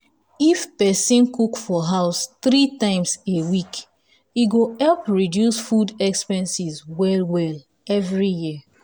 if person cook for house three times a week e go help reduce food expenses well well every year.